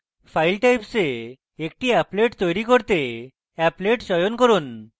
file types এ একটি applet তৈরী করতে applet চয়ন করুন